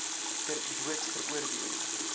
ter dood veroordeel